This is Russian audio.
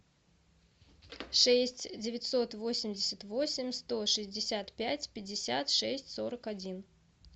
шесть девятьсот восемьдесят восемь сто шестьдесят пять пятьдесят шесть сорок один